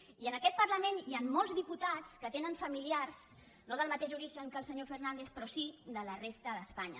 i en aquest parlament hi han molts diputats que tenen familiars no del ma·teix origen que el senyor fernàndez però sí de la resta d’espanya